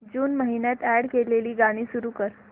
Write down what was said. जून महिन्यात अॅड केलेली गाणी सुरू कर